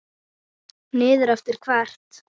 Niður eftir hvert?